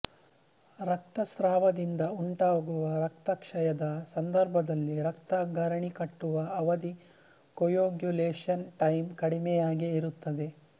ರಕ್ತಸ್ರಾವದಿಂದ ಉಂಟಾಗುವ ರಕ್ತಕ್ಷಯದ ಸಂದರ್ಭದಲ್ಲಿ ರಕ್ತ ಗರಣೆಗಟ್ಟುವ ಅವಧಿ ಕೊಯಾಗ್ಯುಲೇಷನ್ ಟೈಮ್ ಕಡಿಮೆಯಾಗೇ ಇರುತ್ತದೆ